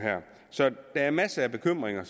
så der er masser af bekymringer